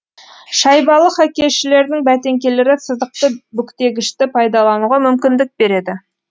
шайбалы хоккейшілердің бәтеңкелері сызықты бүктегішті пайдалануға мүмкіндік береді